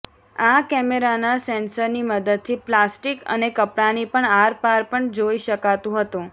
આ કેમેરાના સેંસરની મદદથી પ્લાસ્ટિક અને કપડાની પણ આરપાર પણ જોઈ શકાતું હતું